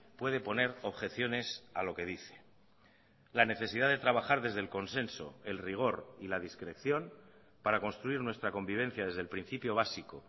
puede poner objeciones a lo que dice la necesidad de trabajar desde el consenso el rigor y la discreción para construir nuestra convivencia desde el principio básico